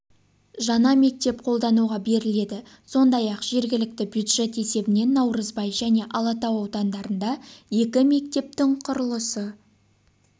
жаңа мектеп қолдануға беріледі сондай-ақ жергілікті бюджет есебінен наурызбай және алатау аудандарында екі мекептің құрылысы